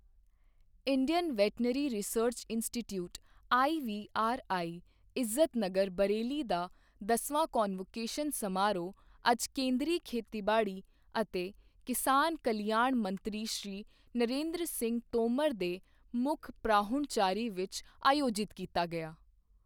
Indian veterinary research institute IVRI, Izatnagar Bareilly ਦਾ ਦਸਵਾਂ convocation ਸਮਾਰੋਹ ਅੱਜ ਕੇਂਦਰੀ ਖੇਤੀਬਾੜੀ ਅਤੇ ਕਿਸਾਨ ਕਲਿਆਣ ਮੰਤਰੀ ਸ਼੍ਰੀ ਨਰਿੰਦਰ ਸਿੰਘ ਤੋਮਰ ਦੇ ਮੁੱਖ ਪ੍ਰਾਹੁਣਚਾਰੀ ਵਿੱਚ ਆਯੋਜਿਤ ਕੀਤਾ ਗਿਆ।